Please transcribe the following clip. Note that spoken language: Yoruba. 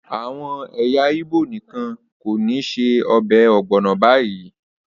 Àwọn ẹyà Igbo nìkan kọ́ ni ṣe ọbẹ̀ ogbono báyìí